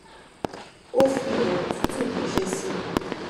ó fi òrò tútù ránṣẹ sí mi